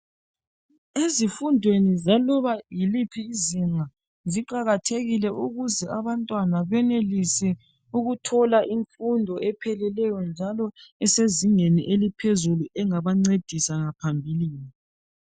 Ezifundweni zaloba yiliphi izinga ziqakatehkile ukuze abantwana benelise ukuthola imfundo ephilileyo njalo esezingeni eliphezulu engabancedisa ngaphambilini.